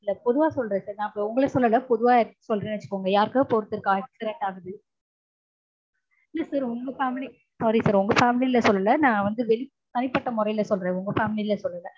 இல்ல பொதுவா சொல்றேன். உங்கள சொல்லல. பொதுவா யார்க்கோ சொல்றேன்னு வச்சுக்கோங்க. யார்க்காவது ஒருத்தர்க்கு இப்போ accident ஆச்சு. இல்ல sir உங்க family sorry sir உங்க family ல சொல்லல நா வந்து தனிப்பட்ட முறைல சொல்றேன். உங்க family ல சொல்லல